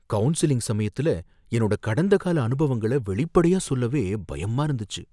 Counselling சமயத்துல என்னோட கடந்தகால அனுபவங்கள வெளிப்படையா சொல்லவே பயமா இருந்துச்சு.